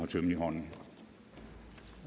tømmen i hånden